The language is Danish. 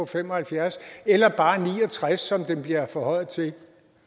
fem og halvfjerds år eller bare ni og tres som den bliver forhøjet til